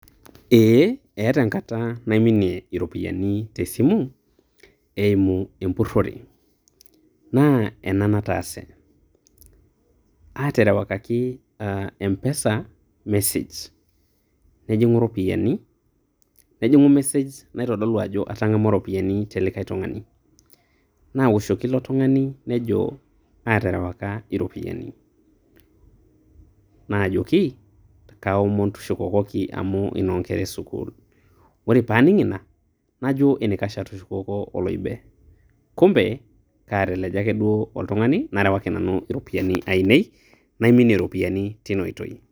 Ee. Etaa enkata naiminie iropiyiani tesimu, eimu empurrore. Naa ena nataase, aterewakaki mpesa mesej nejing'u ropiyaiani. Nejing'u mesej naitodolu ajo atang'amua iropiyiani telikae tung'ani. Nawoshoki ilo tung'ani nejo aterewaka iropiyiani. Najoki, kaomon tushukokoki amu inoonkera esukuul. Ore paaning' ina, najo enaikash atushukoko oloibe. Kumpe, kateleja ake duo oltung'ani narewaki nanu iropiyiani ainei, naiminie iropiyiani tina oitoi.